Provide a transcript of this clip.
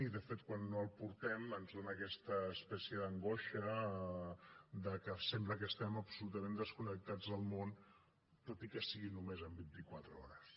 i de fet quan no el portem ens fa aquesta espècie d’angoixa que sembla que estem absolutament desconnectats del món tot i que sigui només en vint i quatre hores